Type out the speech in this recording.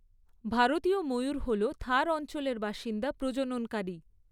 ভারতীয় ময়ূর হল থার অঞ্চলের বাসিন্দা প্রজননকারী।